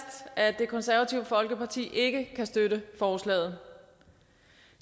at det konservative folkeparti ikke kan støtte forslaget